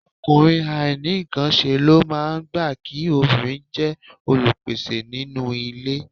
Ọkùnrin àìnínǹkanṣe ló máa gbà kí obìnrin jẹ́ olùpèsè nínú ilé